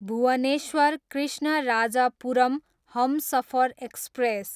Bhubaneswar, Krishnarajapuram Humsafar express